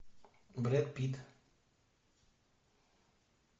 брэд питт